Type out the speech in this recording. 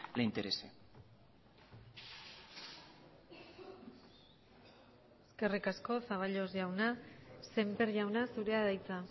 le interese eskerrik asko zaballos jauna sémper jauna zurea da hitza